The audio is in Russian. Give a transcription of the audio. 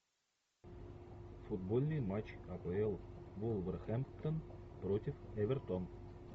футбольный матч апл вулверхэмптон против эвертон